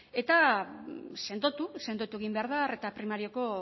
eta sendotu sendotu egin behar arreta primariokon